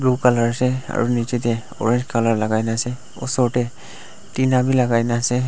blue colour ase aru nichae tae orange colour lakai na ase osor tae tina bi lakai na ase.